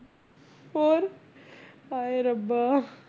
ਹੋਰ ਹਾਏ ਰੱਬਾ